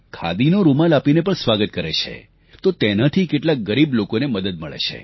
ખાદીનો રૂમાલ આપીને પણ સ્વાગત કરે છે તો તેનાથી કેટલા ગરીબ લોકોએ મદદ મળે છે